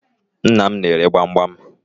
Nnam n'ere gbamgbam.